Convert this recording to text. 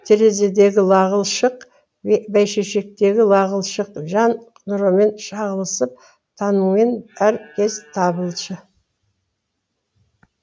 терезедегі лағыл шық бәйшешектегі лағыл шық жан нұрымен шағылысып таңымен әр кез табылшы